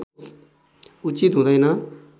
उचित हुँदैन